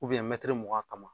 mɛtiri mugan kama